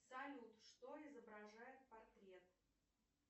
салют что изображает портрет